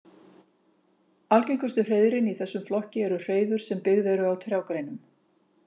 Algengustu hreiðrin í þessum flokki eru hreiður sem byggð eru á trjágreinum.